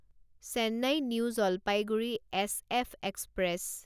Chennai New Jalpaiguri SF express